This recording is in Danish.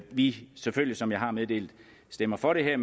vi selvfølgelig som jeg har meddelt stemmer for det her